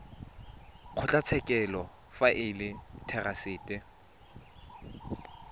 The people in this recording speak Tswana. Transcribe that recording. kgotlatshekelo fa e le therasete